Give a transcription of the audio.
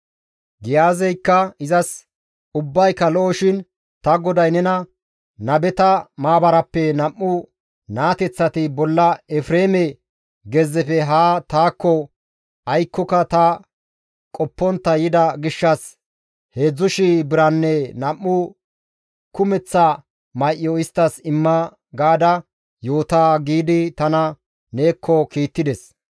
Giyaazeykka izas, «Ubbayka lo7oshin ta goday nena, ‹Nabeta maabarappe nam7u naateththati bolla Efreeme gezzefe haa taakko aykkoka ta qoppontta yida gishshas 3,000 biranne nam7u kumeththa may7o isttas imma› gaada yoota» giidi tana neekko kiittides.